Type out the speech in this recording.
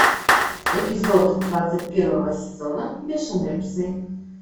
эпизод двадцать первого сезона бешеные псы